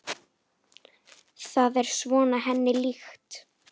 Það er svona henni líkt.